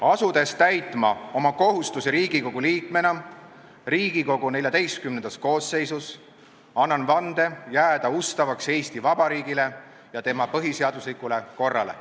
Asudes täitma oma kohustusi Riigikogu liikmena Riigikogu XIV koosseisus, annan vande jääda ustavaks Eesti Vabariigile ja tema põhiseaduslikule korrale.